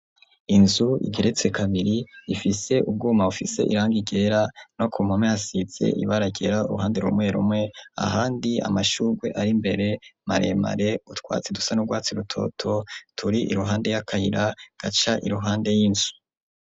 Inzu igeretse kabiri, ifise ubwuma, bufise irangi ryera, no ku mpome, hasize ibara ryera, uruhande rumwe rumwe; ahandi amashurwe, ari mbere, maremare; utwatsi, dusa n'urwatsi rutoto, turi iruhande y'akayira, gaca iruhande y'inzu.